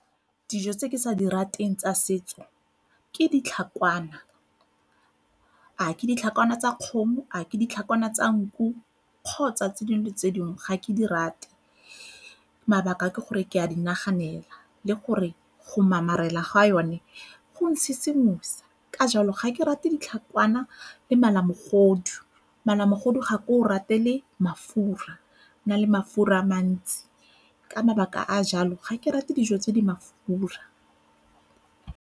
Dijo tse ke sa di rateng tsa setso ke ditlhakwana, a ke ditlhakawana tsa kgomo, a keditlhakawana tsa nku kgotsa tse dingwe le tse dingwe ga ke di rate. Mabaka ke gore ke a di naganela le gore go mamarela ga yone go a ntshisimosa ka jalo ga ke rate ditlhakwana le malamogodu. Malamogodu ga ke o ratele mafura e na le mafura a mantsi, ka mabaka a jalo ga ke rate dijo tse di mafura.